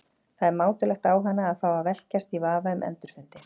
Það er mátulegt á hana að fá að velkjast í vafa um endurfundi.